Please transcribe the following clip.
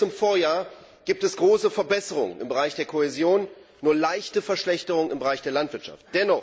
Im Verhältnis zum Vorjahr gibt es große Verbesserungen im Bereich der Kohäsion und nur eine leichte Verschlechterung im Bereich der Landwirtschaft.